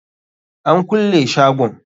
An kulle shagon.